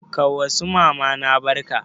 Ka wa su mamana barka?